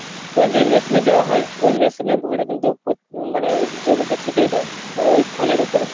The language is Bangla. তোমার যেই machine এ দেওয়া হয় ওই machine এ ভোরে কিন্তু মানে জমিতে ছিটিয়ে দেয় মানে ওই ফলের উপরে।